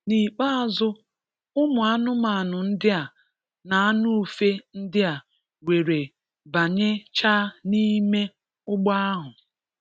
N'ikpeazụ, ụmụ anụmanụ ndi a na anụ ufe ndi a were banye chaa n'ime ugbo ahu.